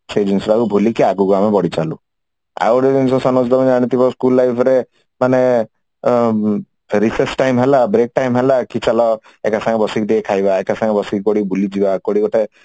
ସେଇ ଜିନିଷ ଟାକୁ ଭୁଲିକି ଆଗକୁ ଆମେ ବଢି ଚାଲୁ ଆହୁରି ଜିନିଷ ସନୋଜ ତମେ ଜାଣିଥିବ school life ରେ ମାନେ Raise time ହେଲା break time ହେଲା କି ଏକା ସାଙ୍ଗରେ ବସିକି ଟିକେ ଖାଇବା ଏକା ସାଙ୍ଗରେ ବସିକି କୁଆଡେ ବୁଲିଯିବା କୁଆଡେ ଗୋଟେ